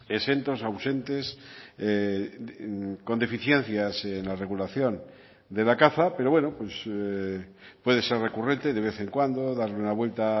exentos ausentes con deficiencias en la regulación de la caza pero bueno puede ser recurrente de vez en cuando darle una vuelta